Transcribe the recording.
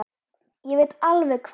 Ég veit alveg hvað